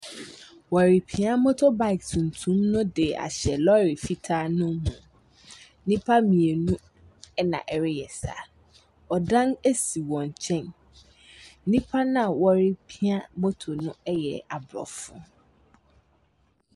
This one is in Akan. Wɔrepia moto baek tuntum no de ahyɛ lɔɔre fitaa no mu. Nnipa mmienu ɛna ɛreyɛ saa, ɔdan esi wɔn nkyɛn. Nnipa na wɔrepia moto no ɛyɛ abrɔfo.